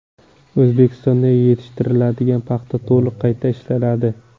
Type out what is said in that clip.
O‘zbekistonda yetishtiriladigan paxta to‘liq qayta ishlanadi.